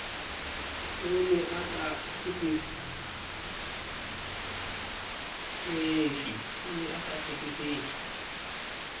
o ne a sa hlekefetse